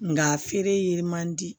Nka feere ye man di